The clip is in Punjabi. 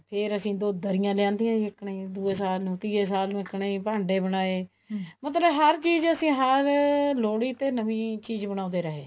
ਫ਼ੇਰ ਅਸੀਂ ਦੋ ਦਰੀਆਂ ਲਿਆਂਦੀ ਆਂ ਜੀ ਇੱਕਨ ਹੈ ਦੂਏ ਸਾਲ ਨੂੰ ਤੀਏ ਸਾਲ ਨੂੰ ਇੱਕਨ ਹੀ ਭਾਂਡੇ ਬਨਾਏ ਮਤਲਬ ਹਰ ਚੀਜ਼ ਅਸੀਂ ਲੋਹੜੀ ਤੇ ਨਵੀਂ ਚੀਜ਼ ਬਣਾਉਂਦੇ ਰਹੇ